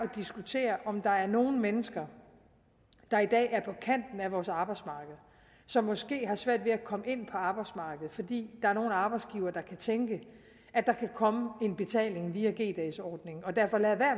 at diskutere om der er nogle mennesker der i dag er på kanten af vores arbejdsmarked som måske har svært ved at komme ind på arbejdsmarkedet fordi der er nogle arbejdsgivere der kan tænke at der kan komme en betaling via g dagsordningen og derfor lader